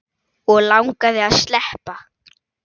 Og langaði að sleppa.